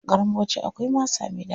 Garin Bauchi akwai masa mai ɗaɗi.